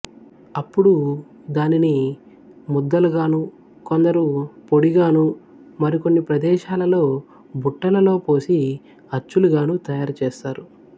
అప్పుడు దానిని ముద్దలుగాను కొందరు పొడిగాను మరి కొన్ని ప్రదేశాలలో బుట్టలలో పోసి అచ్చులుగాను తయారు చేస్తారు